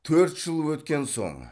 төрт жыл өткен соң